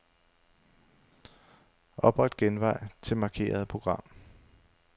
Opret genvej til markerede program.